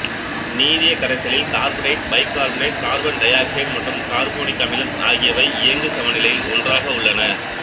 நீரிய கரைசலில் carbonate bicarbonate carbon dioxide மற்றும் carbonic அமிலம் ஆகியவை இயங்குச் சமநிலையில் ஒன்றாக உள்ளன